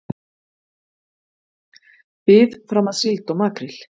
Bið fram að síld og makríl